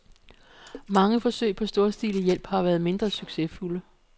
Mange forsøg på storstilet hjælp har været mindre succesfulde.